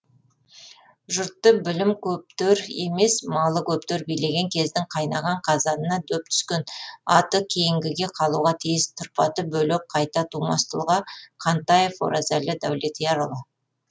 жұртты білім көптер емес малы көптер билеген кездің қайнаған қазанына дөп түскен аты кейінгіге қалуға тиіс тұрпаты бөлек қайта тумас тұлға қантаев оразәлі даулетиярұлы